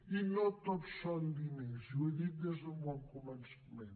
i no tot són diners i ho he dit des d’un bon començament